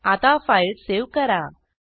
आता file save करा